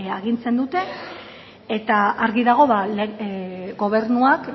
agintzen dute eta argi dago gobernuak